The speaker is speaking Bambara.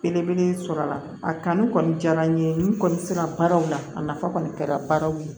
Belebele sɔrɔ a la a kanu kɔni diyara n ye n kɔni sera baaraw la a nafa kɔni kɛra baaraw ye